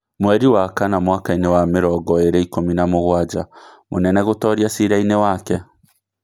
Mweri wa kana mwakaini wa mĩrongo ĩĩrĩ ikũmi na mũgwanja: Mũnene gũtoria ciira-inĩ wake